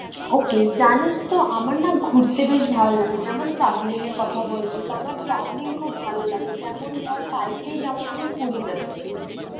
ওকে জানিস তো আমরা না ঘুরতে বেশ ভালো লাগে যেমন travelling এর কথা বলছো। তো আমার travelling খুব ভালো লাগে যেমন ধর কালকেই যেমন আমি পুরী যাচ্ছি।